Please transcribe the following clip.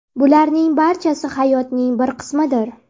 Bularning barchasi hayotning bir qismidir.